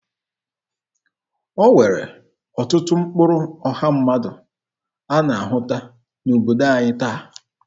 E nwere ọtụtụ ụkpụrụ ọha mmadụ a na-ahụta n'obodo anyị taa.